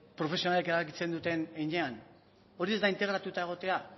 profesionalek erabakitzen duten heinean hori ez da integratuta egotea